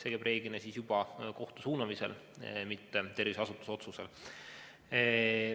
Aga see toimub reeglina kohtu suunamisel, mitte terviseasutuse otsusel.